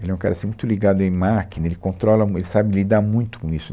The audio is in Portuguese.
Ele é um cara assim, muito ligado em máquina, ele controla mui, ele sabe lidar muito com isso.